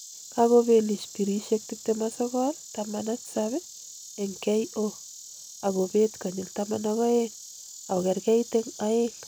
Kokobelish birishek 29,17 eng KO akobet konyil 12 ,akokerkeit eng aeng